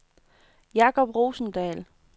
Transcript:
Jakob Rosendahl